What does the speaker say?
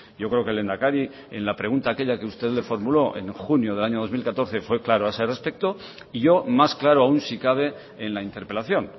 yo creo que el lehendakari en la pregunta aquella que usted le formuló en junio del año dos mil catorce fue claro a ese respecto y yo más claro aún si cabe en la interpelación